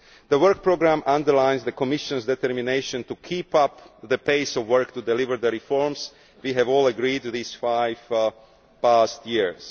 The work programme underlines the Commission's determination to keep up the pace of work to deliver the reforms we have all agreed to over the past five years.